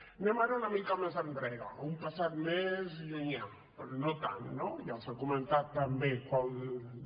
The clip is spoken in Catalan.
anem ara una mica més enrere a una passat més llunyà però no tant no ja s’ha comentat també quan